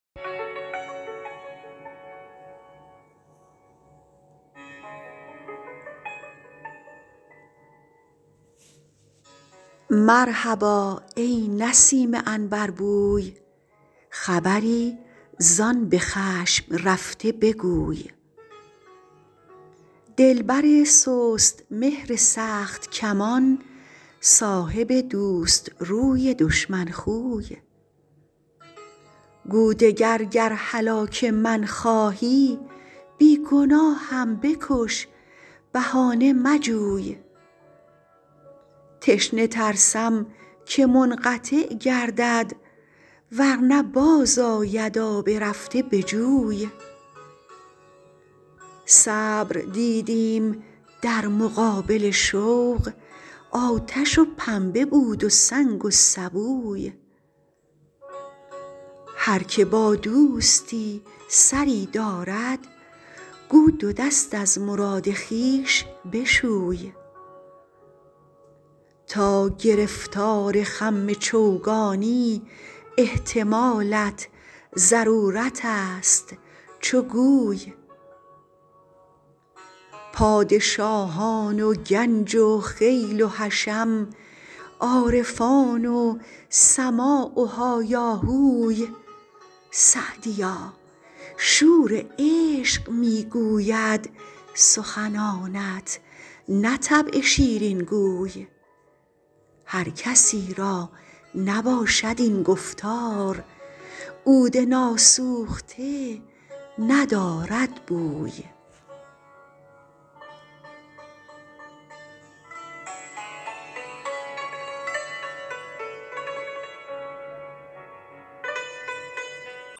مرحبا ای نسیم عنبربوی خبری زآن به خشم رفته بگوی دلبر سست مهر سخت کمان صاحب دوست روی دشمن خوی گو دگر گر هلاک من خواهی بی گناهم بکش بهانه مجوی تشنه ترسم که منقطع گردد ور نه باز آید آب رفته به جوی صبر دیدیم در مقابل شوق آتش و پنبه بود و سنگ و سبوی هر که با دوستی سری دارد گو دو دست از مراد خویش بشوی تا گرفتار خم چوگانی احتمالت ضرورت است چو گوی پادشاهان و گنج و خیل و حشم عارفان و سماع و هایاهوی سعدیا شور عشق می گوید سخنانت نه طبع شیرین گوی هر کسی را نباشد این گفتار عود ناسوخته ندارد بوی